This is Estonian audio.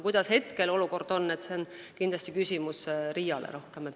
Kuidas olukord praegu on, see on kindlasti rohkem küsimus RIA-le.